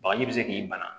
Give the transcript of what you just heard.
Bagaji bi se k'i bana